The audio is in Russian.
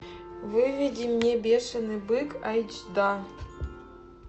выведи мне бешеный бык айч да